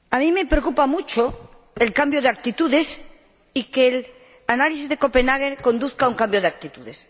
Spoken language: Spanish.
Me preocupa mucho el cambio de actitudes y que el análisis de Copenhague conduzca a un cambio de actitudes.